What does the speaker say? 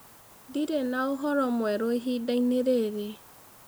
Ndĩrĩ na ũhoro mwerũ ĩhĩndaĩnĩ rĩrĩ.